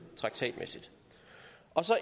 traktatmæssigt